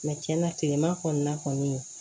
tiɲɛna kileman kɔni na kɔni